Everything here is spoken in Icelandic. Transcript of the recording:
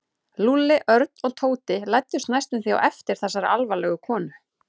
Lúlli, Örn og Tóti læddust næstum því á eftir þessari alvarlegu konu.